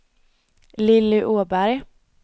Lilly Åberg